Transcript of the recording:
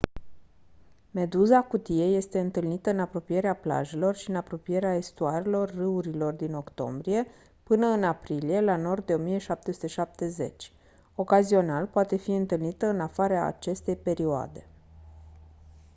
meduza cutie este întâlnită în apropierea plajelor și în apropierea estuarelor râurilor din octombrie până în aprilie la nord de 1770 ocazional poate fi întâlnită în afara acestei perioade